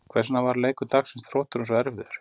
Hvers vegna varð leikur dagsins Þrótturum svo erfiður?